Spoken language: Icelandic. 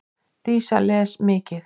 Dísa les mikið.